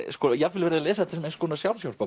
jafnvel verið að lesa þetta sem eins konar